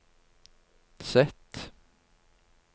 Z